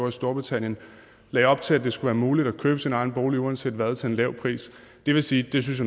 i storbritannien lagde op til at det skulle være muligt at købe sin egen bolig uanset hvad til en lav pris jeg må sige at det synes